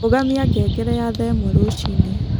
Rũgamĩa ngengere ya thaa ĩmwe rũcĩĩnĩ